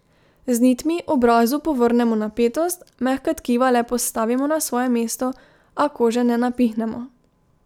Z nitmi obrazu povrnemo napetost, mehka tkiva le postavimo na svoje mesto, a kože ne napihnemo.